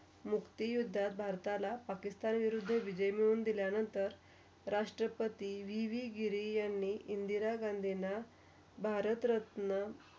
मुक्तीयुद्धात भारताला, पाकिस्तान विरुद्ध विजय मिळून दिल्या नंतर. राष्ट्रपति विविगिरी यांनी इंदिरा गांधींना भारतरत्न.